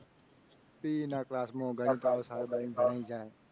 P E ના class માં ગણિત વાળો સાહેબ અયીને ભણાવીને જાય.